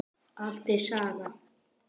Allt er saga.